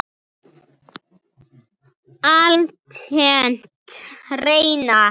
Altént reyna.